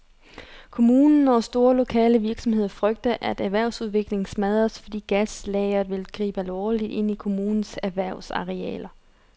Kommunen og store lokale virksomheder frygter, at erhvervsudviklingen smadres, fordi gaslageret vil gribe alvorligt ind i kommunens erhvervsarealer.